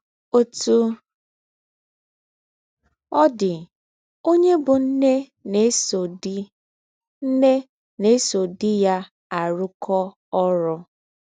Òtú ọ̀ dì, ònyè bú ǹné nà-èsò dí ǹné nà-èsò dí yá àrùkọ́ órú.